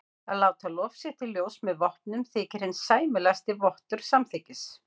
Að láta lof sitt í ljós með vopnum þykir hinn sæmilegasti vottur samþykkis.